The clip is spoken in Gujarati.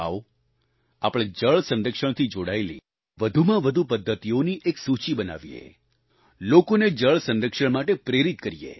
આવો આપણે જળ સંરક્ષણથી જોડાયેલી વધુમાં વધુ પદ્ધતિઓની એક સૂચી બનાવીને લોકોને જળ સંરક્ષણ માટે પ્રેરિત કરીએ